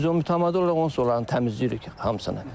Biz onu mütəmadi olaraq onsuz da onların təmizləyirik hamısını.